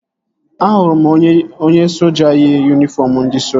Ahụrụ m onye soja yi yunifọm ndị soja